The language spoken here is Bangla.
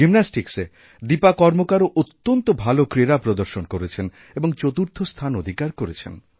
জিমন্যাস্টিক্সে দীপা কর্মকারও অত্যন্ত ভালো ক্রীড়া প্রদর্শনকরেছেন এবং চতুর্থ স্থান অধিকার করেছেন